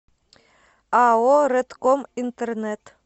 ао рэдком интернет